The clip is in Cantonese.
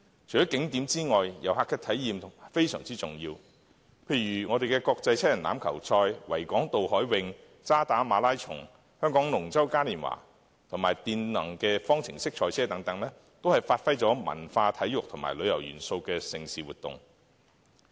除了景點外，遊客的體驗非常重要，例如國際七人欖球賽、維港渡海泳、渣打馬拉松、香港龍舟嘉年華及電動方程式賽車，都是發揮了文化、體育和旅遊元素的盛事活動。